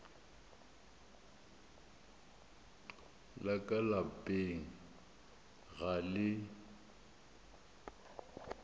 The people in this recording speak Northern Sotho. la ka lapeng ga le